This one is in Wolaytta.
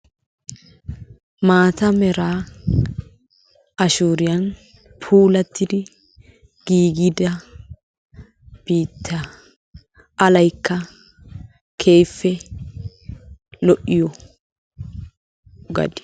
Maata meraa ashooriyan puulattidi giigida biittaa alayikka keehippe lo7iyo gadiya.